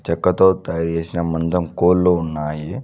చెక్కతో తయారు చేసిన మందం కోళ్లు ఉన్నాయి.